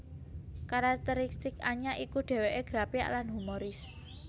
Karakteristik Anya iku dhèwèké grapyak lan humoris